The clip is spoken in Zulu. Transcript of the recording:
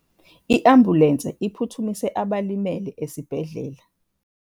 I-ambulense iphuthumise abalimele esibhedlela.